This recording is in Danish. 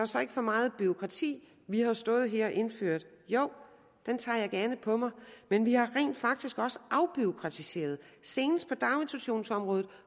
så ikke for meget bureaukrati vi har stået her og indført jo den tager jeg gerne på mig men vi har rent faktisk også afbureaukratiseret senest på daginstitutionsområdet